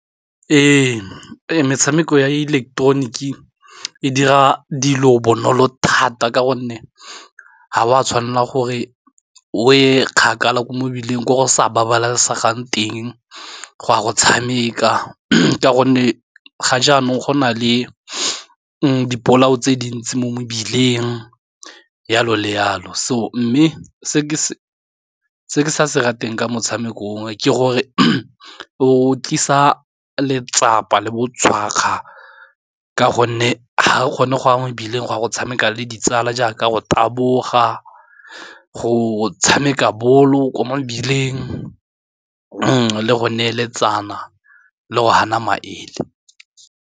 Ee, metshameko ya ileketeroniki e dira dilo bonolo thata ka gonne ha wa tshwanela gore o e kgakala kwa mebileng ko go sa babalesegang teng go ya go tshameka ka gonne ga jaanong go na le dipolao tse dintsi mo mebileng yalo le yalo, so mme se ke se ratang ka motshamekong oo ke gore o tlisa letsapa le botshwakga ka gonne ga re kgone go ya mebileng go ya go tshameka le ditsala jaaka go taboga go tshameka bolo kwa mebileng le go neeletsana le go hana maele.